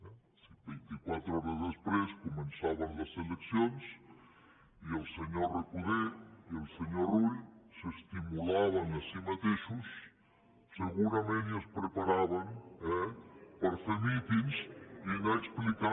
o sigui vint·i·quatre hores després començaven les eleccions i el senyor recoder i el senyor rull s’estimu·laven a si mateixos segurament i es preparaven per fer mítings i anar explicant